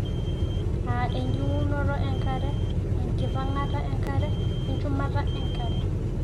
aa ejing'unoto enkare, enkipang'ata enkare, we nchumata enkare .